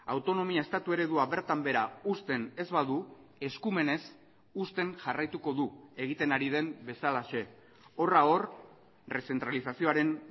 autonomia estatu eredua bertan behera uzten ez badu eskumenez uzten jarraituko du egiten ari den bezalaxe horra hor errezentralizazioaren